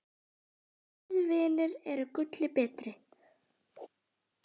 Góðir vinir eru gulli betri.